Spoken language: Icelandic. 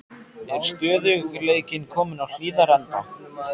Er stöðugleikinn kominn á Hlíðarenda?